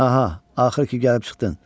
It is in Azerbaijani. Aha, axır ki gəlib çıxdın.